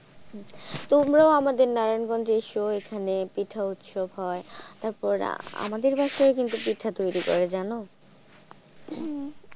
তোমরাও আমাদের নারায়ণ গঞ্জে এসো এখানে পিঠা উৎসব হয় তারপরে আমাদের বাসায় ও পিঠা তৈরী করে জানো।